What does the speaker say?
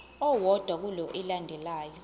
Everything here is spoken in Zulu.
owodwa kule elandelayo